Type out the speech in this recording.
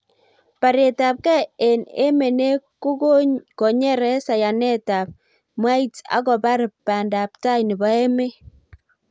baretab gei eng emenee kokonyere sayanetab mwaits ak kobar bandalptai nebo emeet